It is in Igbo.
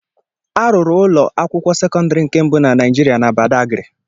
A rụrụ ulọ akwụkwọ sekọndiri nke mbụ na Naijiria na Badagiri.